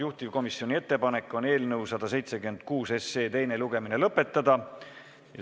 Juhtivkomisjoni ettepanek on eelnõu 176 teine lugemine lõpetada.